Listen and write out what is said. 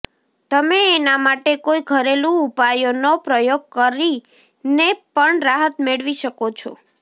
તમે એના માટે કોઈ ઘરેલુ ઉપાયો નો પ્રયોગ કરી ને પણ રાહત મેળવી શકો છો